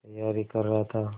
तैयारी कर रहा था